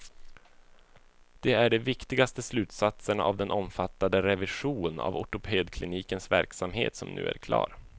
Det är de viktigaste slutsatserna av den omfattande revision av ortopedklinikens verksamhet som nu är klar.